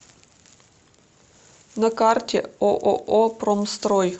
на карте ооо промстрой